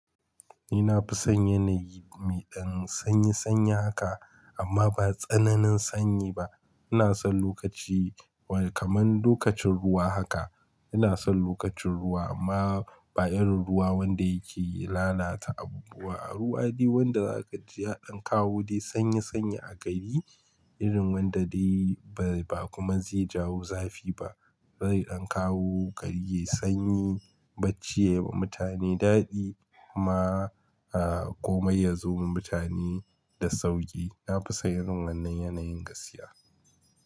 Nina fi son yanayi mai ɗan sanyi sanyi haka amma ba tsananin sanyi ba. Ina son lokaci wai kaman lokacin ruwa haka. Ina son lokacin ruwa amma ba irin ruwa wanda yake lalata abubuwa. Ruwa dai wanda za ka ji ya ɗan kawo dai sanyi sanyi a gari irin wanda dai bai ba kuma zai jawo zafi ba. Zai ɗan kawo gari, yayi sanyi, bacci yayiwa mutane daɗi amma a komai ya zo gun mutane da sauƙi. Na fi son wannan yanayin gaskiya.